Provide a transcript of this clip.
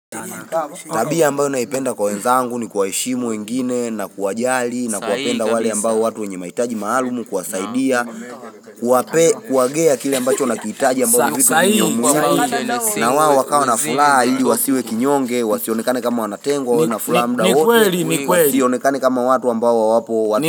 Tabia ambayo naipenda kwa wezaangu ni kwaishimu wengine na kuwajali na kuwapenda wale ambayo watu wenye maitaji maalumu kwasaidia Kwape kuwagea kile ambacho nakitaji ambayo hivitu niyomuhili na waa wakawa na fulal yi wasiwe kinyonge wasionekane kama wanatengwa na fulamda hoti Sionekane kama watu ambayo wapo watu.